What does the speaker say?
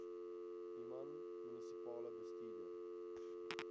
human munisipale bestuurder